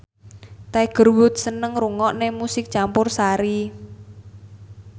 Tiger Wood seneng ngrungokne musik campursari